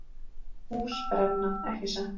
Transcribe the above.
Hús brenna, ekki satt?